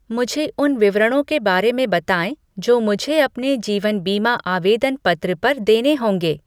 मुझे उन विवरणों के बारे में बताएँ जो मुझे अपने जीवन बीमा आवेदन पत्र पर देने होंगे।